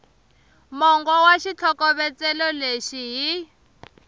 mongo wa xitlhokovetselo lexi hi